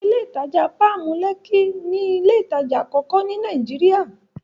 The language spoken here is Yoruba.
Ilé ìtajà Páàmù, Lẹ́kí ni ilé ìtajà àkọ́kọ́ ní Nàìjíríà.